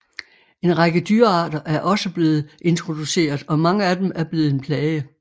En række dyrearter er også blevet introduceret og mange af dem er blevet en plage